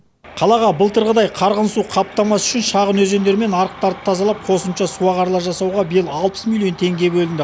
қалаға былтырғыдай қарғын су қаптамас үшін шағын өзендер мен арықтарды тазалап қосымша су ағарлар жасауға биыл алпыс миллион теңге бөлінді